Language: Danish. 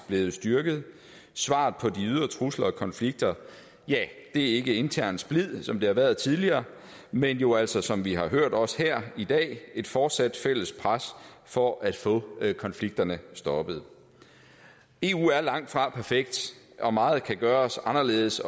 blevet styrket svaret på de ydre trusler og konflikter er ikke intern splid som det har været tidligere men jo altså som vi har hørt også her i dag et fortsat fælles pres for at få konflikterne stoppet eu er langtfra perfekt og meget kan gøres anderledes